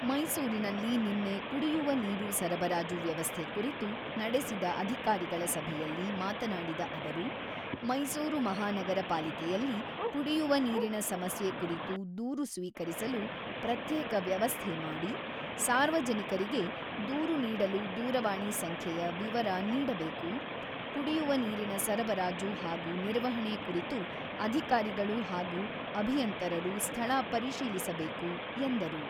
ಮೈಸೂರಿನಲ್ಲಿ ನಿನ್ನೆ ಕುಡಿಯುವ ನೀರು ಸರಬರಾಜು ವ್ಯವಸ್ಥೆ ಕುರಿತು ನಡೆಸಿದ ಅಧಿಕಾರಿಗಳ ಸಭೆಯಲ್ಲಿ ಮಾತನಾಡಿದ ಅವರು, "ಮೈಸೂರು ಮಹಾನಗರ ಪಾಲಿಕೆಯಲ್ಲಿ ಕುಡಿಯುವ ನೀರಿನ ಸಮಸ್ಯೆ ಕುರಿತು ದೂರು ಸ್ವೀಕರಿಸಲು ಪ್ರತ್ಯೇಕ ವ್ಯವಸ್ಥೆ ಮಾಡಿ, ಸಾರ್ವಜನಿಕರಿಗೆ ದೂರು ನೀಡಲು ದೂರವಾಣಿ ಸಂಖ್ಯೆಯ ವಿವರ ನೀಡಬೇಕು ; ಕುಡಿಯುವ ನೀರಿನ ಸರಬರಾಜು ಹಾಗೂ ನಿರ್ವಹಣೆ ಕುರಿತು ಅಧಿಕಾರಿಗಳು ಹಾಗೂ ಅಭಿಯಂತರರು ಸ್ಥಳ ಪರಿಶೀಲಿಸಬೇಕು" ಎಂದರು.